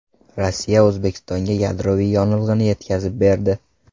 Rossiya O‘zbekistonga yadroviy yonilg‘ini yetkazib berdi.